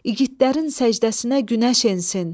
İgidlərin səcdəsinə günəş ensin.